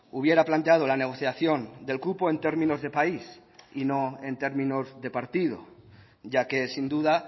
hubiera planteado la negociación del cupo en términos de país y no en términos de partido ya que sin duda